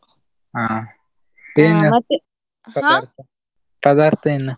ಹಾ ಪದಾರ್ಥ ಏನ್?